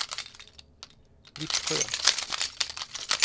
Vittsjö